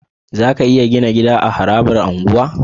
Zaka iya Gina jida a harabar unguwa